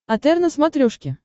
отр на смотрешке